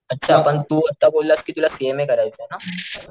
अच्छा पण तू आता बोललास कि तुला सीएमए करायचंय ना,